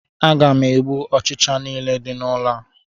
Aga m egbu ọchịcha nile di n'ụlọ a